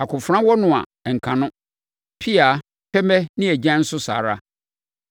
Akofena wɔ no a, ɛnka no, pea, pɛmɛ ne agyan nso saa ara.